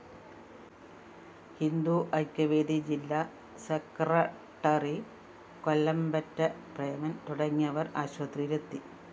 ഹിന്ദു ഐക്യവേദി ജില്ലാ സെക്രട്ടറി കൊല്ലമ്പറ്റ പ്രേമന്‍ തുടങ്ങിയവര്‍ ആശുപത്രിയിലെത്തി